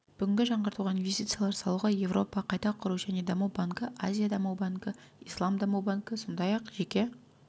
бүгін жаңғыртуға инвестициялар салуға еуропа қайта құру және даму банкі азия даму банкі ислам даму банкі сондай-ақ жеке